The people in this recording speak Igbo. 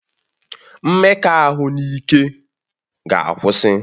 Mmekọahụ n'ike ga akwụsị